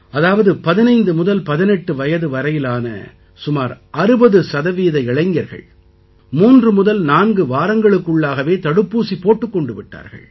அதாவது 15 முதல் 18 வயது வரையிலான சுமார் 60 சதவீத இளைஞர்கள் மூன்று முதல் நான்கு வாரங்களுக்குள்ளாகவே தடுப்பூசி போட்டுக் கொண்டு விட்டார்கள்